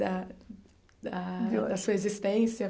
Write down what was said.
Da da da sua existência.